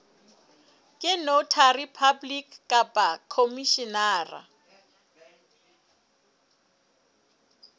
ke notary public kapa mokhomishenara